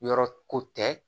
Yɔrɔ ko tɛ